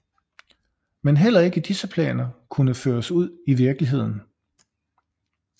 Men heller ikke disse planer kunne føres ud i virkeligheden